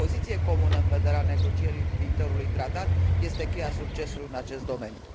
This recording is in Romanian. O poziție comună în vederea negocierii viitorului tratat este cheia succesului în acest domeniu.